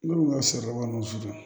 Ne ko sari kɔni sisan